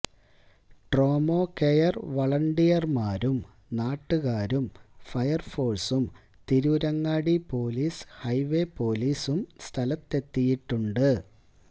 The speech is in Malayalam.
ട്രോമാകെയർ വളണ്ടിയർമാരും നാട്ടുകാരും ഫയർഫോഴ്സും തിരൂരങ്ങാടി പോലീസ് ഹൈവേ പോലീസും സ്ഥലത്തെത്തിയിട്ടുണ്ട്